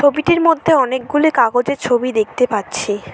ছবিটির মধ্যে অনেকগুলি কাগজের ছবি দেখতে পাচ্ছি।